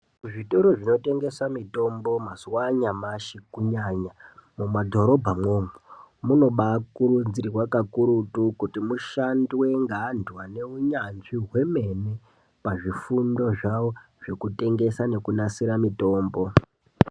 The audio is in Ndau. Zvitoro zvinotengesa mitombo mazuwa anyamashi kunyanya mumadhorobha mwomwo munobaakurudzirwa kakurutu kuti mushandwe ngeantu ane unyanzvi hwemene pazvifundo zvawo zvekutengesa nekunasira mitombo.